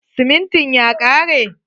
Simintin ya kare?